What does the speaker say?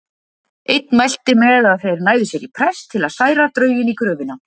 Einn mælti með að þeir næðu sér í prest til að særa drauginn í gröfina.